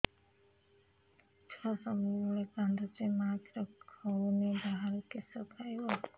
ଛୁଆ ସବୁବେଳେ କାନ୍ଦୁଚି ମା ଖିର ହଉନି ବାହାରୁ କିଷ ଖାଇବ